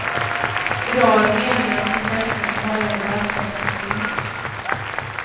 I dag är det meningen att professorn ska höja debattemperaturen.